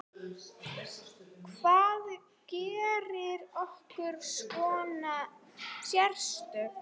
Hvað gerir okkur svona sérstök?